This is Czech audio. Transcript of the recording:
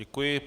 Děkuji.